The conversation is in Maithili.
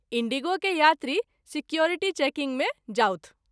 इण्डिगो के यात्री सिक्योरिटी चेकिंग मे जाथु।